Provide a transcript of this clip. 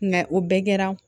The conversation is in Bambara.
o bɛɛ kɛra